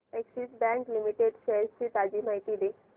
Axis bank limited shares ची ताजी माहिती दे